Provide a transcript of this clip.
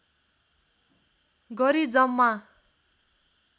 गरी जम्मा